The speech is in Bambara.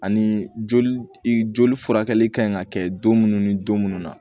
Ani joli furakɛli ka ɲi ka kɛ don munnu ni don munnu na